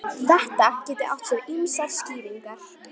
Þetta geti átt sér ýmsar skýringar